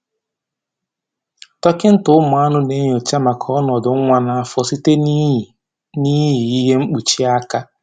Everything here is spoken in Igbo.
Dọkịta ụmụ anụ na-enyocha maka ọnọdụ nwa n'afọ site na-iyi na-iyi ihe mkpuchi aka